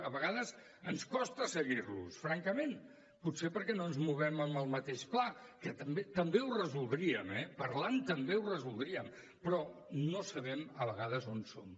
a vegades ens costa seguir los francament potser perquè no ens movem en el mateix pla que també ho resoldríem eh parlant també ho resoldríem però no sabem a vegades on són